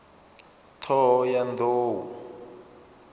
ṱhohoyanḓou